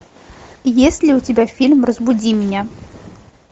есть ли у тебя фильм разбуди меня